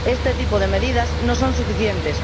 Este tipo de medidas no son suficientes.